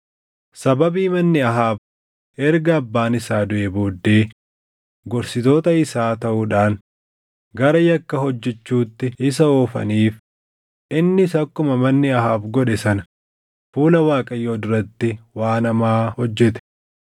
Sababii manni Ahaab erga abbaan isaa duʼee booddee gorsitoota isaa taʼuudhaan gara yakka hojjechuutti isa oofaniif, innis akkuma manni Ahaab godhe sana fuula Waaqayyoo duratti waan hamaa hojjete.